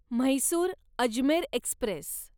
Mysore Ajmer Express